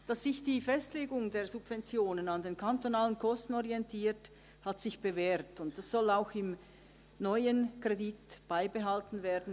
Dass sich die Festlegung der Subventionen an den kantonalen Kosten orientiert, hat sich bewährt, und dieses bewährte System soll auch im neuen Kredit beibehalten werden.